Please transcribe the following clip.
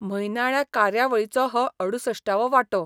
म्हयनाळ्या कार्यावळीचो हो अडुसश्टावो वाटो.